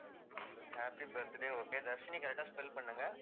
happy birthday okay Dharshini correct ஆ spell பண்ணுங்க